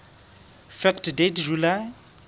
fact date july